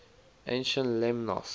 ancient lemnos